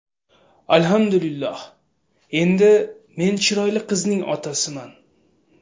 Alhamdulillah, endi men chiroyli qizning otasiman.